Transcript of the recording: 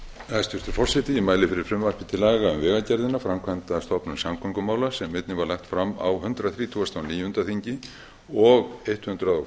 forseti ég mæli fyrir frumvarpi til laga um vegagerðina framkvæmdastofnun samgöngumála sem einnig var lagt fram á hundrað þrítugasta og níunda þingi og hundrað